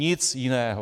Nic jiného.